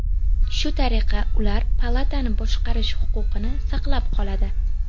Shu tariqa, ular palatani boshqarish huquqini saqlab qoladi.